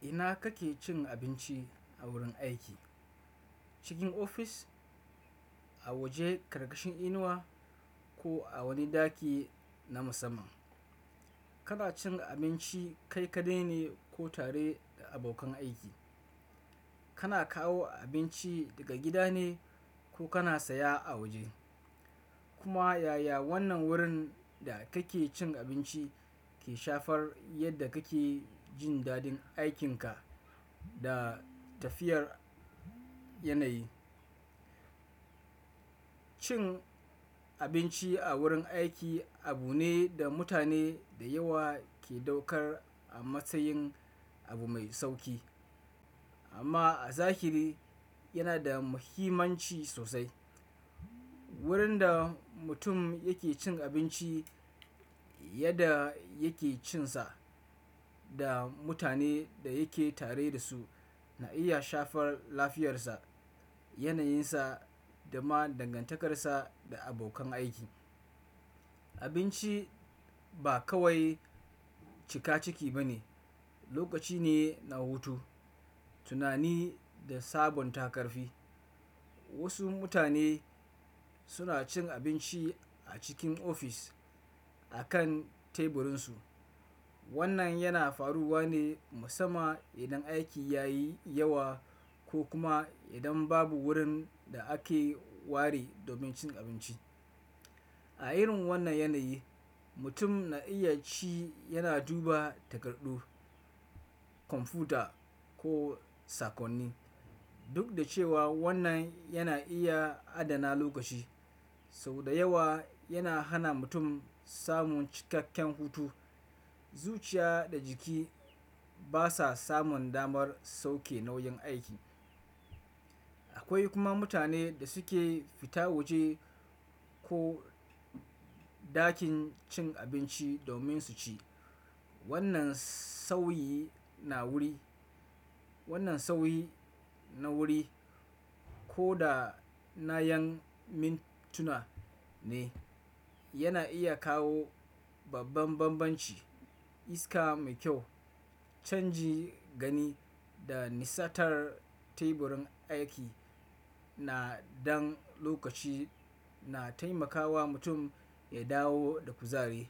Ina kake cin abinci a wurin aiki? Cikin ofis, a waje karkashin inuwa ko a wani ɗaki na musamman? Kana cin abinci kai kaɗai ne ko tare da abokan aiki? Kana kawo abinci daga gida ne ko kana saya a waje? Kuma yaya wannan wurin da kake cin abinci ke shafar yadda kake jin dadin aikinka da tafiyar yanayi? Cin abinci a wurin aiki abu ne da mutane da yawa ke ɗaukar a matsayin abu mai sauki. Amma a zahiri yana da muhimmanci sosai. Wurin da mutum yake cin abinci, yadda yake cin sa da mutane da yake tare da su na iya shafar lafiyarsa, yanayinsa da ma dangantakarsa da abokan aiki. Abinci ba kawai cika ciki ba ne, lokaci ne na hutu, tunani da sabonta karfi. Wasu mutane suna cin abinci a cikin ofis a kan teburinsu. Wannan yana faruwa ne musamman idan aiki yayi yawa ko kuma idan babu wurin da ake ware domin cin abinci. A irin wannan yanayi, mutum na iya ci yana duba takardu, kwamfuta ko sakonni. Duk da cewa wannan yana iya adana lokaci, sau da yawa yana hana mutum samun cikakken hutu. Zuciya da jiki basa samun damar sauke nauyin aiki. Akwai kuma mutane da suke fita waje ko ɗakin cin abinci domin su ci. Wannan sauyi na wuri, wannan sauyi na wuri ko da na ƴan mintuna ne, yana iya kawo babban banbanci. Iska mai kyau, canji gani da nisantar teburin aiki na dan lokaci na taimakawa mutum ya dawo da kuzari.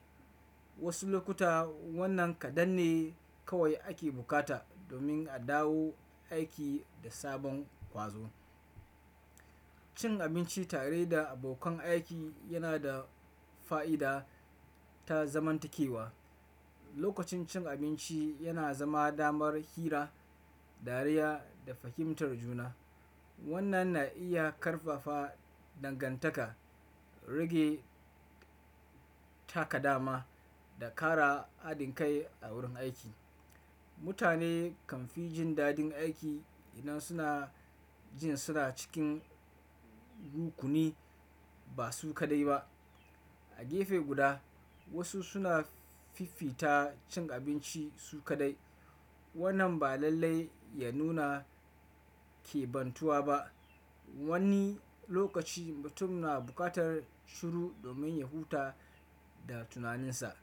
Wasu lokuta wannan kaɗan ne kawai ake bukata domin a dawo aiki da sabon ƙwazo. Cin abinci tare da abokan aiki yana da fa'ida ta zamantakewa. Lokacin cin abinci yana zama damar hira, dariya da fahimtar juna. Wannan na iya ƙarfafa dangantaka, rage takadama da ƙara haɗin kai a wurin aiki. Mutane kan fi jin dadin aiki idan suna jin suna cikin rukuni, ba su kaɗai ba. A gefe guda, wasu suna fifita cin abinci su kaɗai. Wannan ba lallai ya nuna ƙebantuwa ba. Wani lokaci mutum na buƙatar shiru domin ya huta da tunaninsa.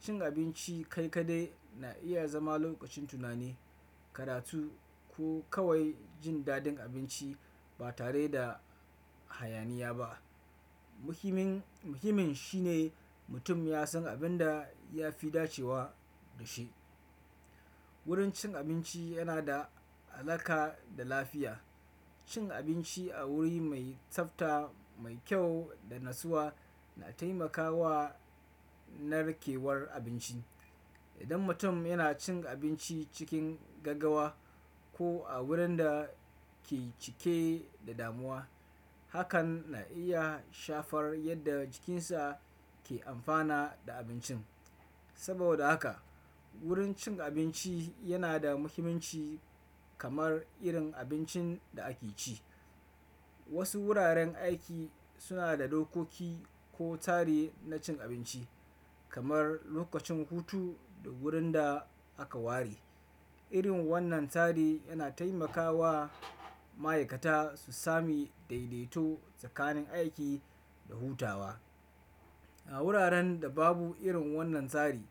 Cin abinci kai kaɗai na iya zama lokacin tunani, karatu ko kawai jin dadin abinci ba tare da hayaniya ba. Muhimin, muhimin shine mutum ya san abin da ya fi dacewa da shi. Wurin cin abinci yana da alaƙa da lafiya. Cin abinci a wuri mai tsafta, mai kyau da natsuwa na taimakawa narkewar abinci. Idan mutum yana cin abinci cikin gaggawa ko a wurin da ke cike da damuwa, hakan na iya shafar yadda jikinsa ke amfana da abincin. Saboda haka wurin cin abinci yana da muhimmanci kamar irin abincin da ake ci. Wasu wuraren aiki suna da dokoki ko tsari na cin abinci kamar lokacin hutu da wurin da aka ware. Irin wannan tsari yana taimakawa ma'aikata su sami daidaito tsakanin aiki da hutawa. A wuraren da babu irin wannan tsari,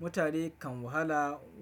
mutane kan wahala.